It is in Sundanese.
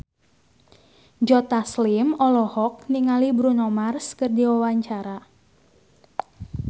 Joe Taslim olohok ningali Bruno Mars keur diwawancara